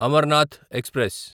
Amarnath express